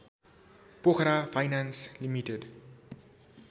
Pokhara finance limited